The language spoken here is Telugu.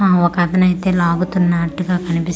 అ ఒకతనైతే లాగుతున్నాట్టుగా కనిపిస్తున్నా--